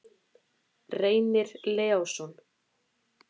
Reynir Leósson.